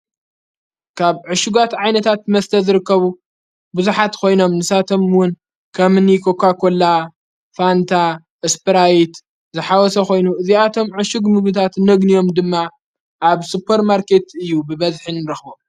ካብ ዕሹጓት ዓይነታት መስተ ዝርከቡ ብዙኃት ኾይኖም ንሳቶምውን ከምኒ ኮኳኮላ ፣ፋንታ እስፕራይት፣ ዝሓወሰ ኾይኑ እዚኣቶም ዕሹግ ምብታት ነግንዮም ድማ ኣብ ሱፐር ማርከት እዩ ብበዝሒን ረኽቦም።